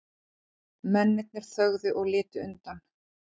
Mennirnir þögðu og litu undan.